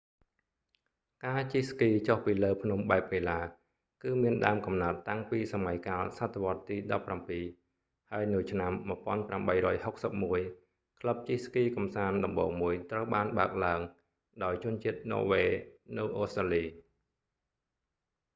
ការជិះស្គីចុះពីលើភ្នំបែបកីឡា គឺមានដើមកំណើតតាំងពីសម័យកាលសតវត្សរ៍ទី17 ហើយនៅឆ្នាំ1861 ក្លឹបជិះស្គីកម្សាន្តដំបូងមួយត្រូវបានបើកឡើងដោយជនជាតិន័រវេសនៅអូស្ត្រាលី